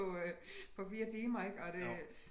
På øh på 4 timer ik og det